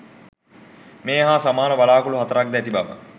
මේ හා සමාන වළාකුළු හතරක් ද ඇති බව